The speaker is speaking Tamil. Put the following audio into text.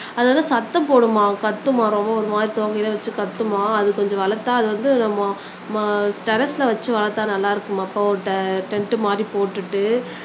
அது வந்து சத்தம் போடுமாம் கத்துமாம் ரொம்ப ஒரு மாதிரி எல்லாம் வச்சு கத்துமாம அது கொஞ்சம் வளர்த்தால் வந்து டெர்ரஸ்ல வச்சு வளர்த்தால்நல்லா இருக்குமாம் அப்போ ஒரு டென்ட் மாறி போட்டுட்டு